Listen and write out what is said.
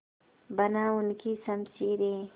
बना उनकी शमशीरें